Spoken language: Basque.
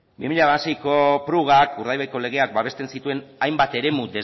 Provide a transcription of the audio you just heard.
bi mila hamaseiko prugak urdaibaiko legeak babesten zituen hainbat eremu